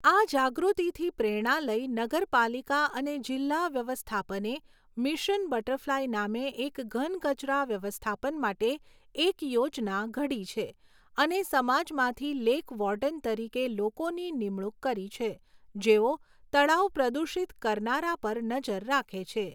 આ જાગૃતિથી પ્રેરણા લઈ નગરપાલિકા અને જિલ્લા વ્યવસ્થાપને મિશન બટરફ્લાય નામે એક ઘન કચરા વ્યવસ્થાપન માટે એક યોજના ઘડી છે અને સમાજમાંથી લેક વોર્ડન તરીકે લોકોની નિમણૂક કરી છે જેઓ તળાવ પ્રદૂષિત કરનારા પર નજર રાખે છે.